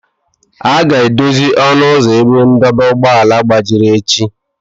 A ga-edozi ọnụ ụzọ ebe ndọba ụgbọala gbajiri echi